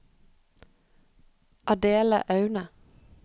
Adele Aune